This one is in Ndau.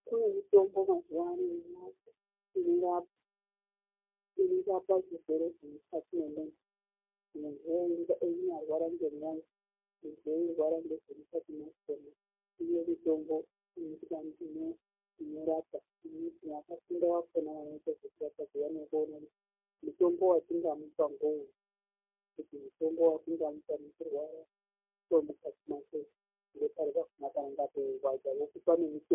Kune mitombo iriyo mazuwa inorapa zvirwere zvemukati memunhu. Munhu einyararwara ngemwoyo muntu eirwara ngezvemukati mwakhona iriyo mitombo inorapa, vakafunda vakhona vanoita ngezvekurapa zviya ngekuona kuti mutombo watingamupa ngeuri. Kuti mutombo watingamupa achirwara ngemukati mwake ngepari panenge peirwadza vokupa nemitombo.